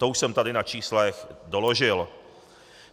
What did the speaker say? To už jsem tady na číslech doložil.